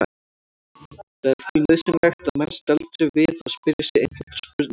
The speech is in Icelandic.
Það er því nauðsynlegt að menn staldri við og spyrji sig einfaldra spurninga